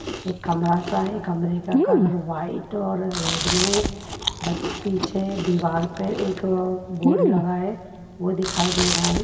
एक कमरा-सा है कमरे का कलर व्हाइट और रेड में है पीछे दीवार पे एक बोर्ड लगा हैवो दिखाई दे रहा है।